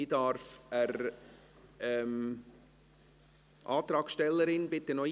Die Antragstellerin soll sich bitte einloggen.